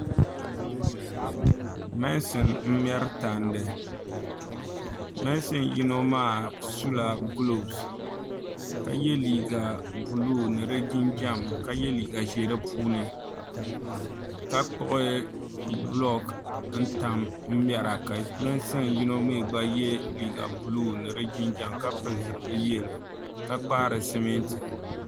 meensin m-meri tandi meensin yino maa sula gulopusi ka ye liiga buluu ni di jinjam ka ye liiga ʒee di puuni ka kpuɣi bulooki n tam mera ka meensin yino mi gba ye liiga buluu ni di jinjam ka pili zipil' yelo ka kpaari simiinti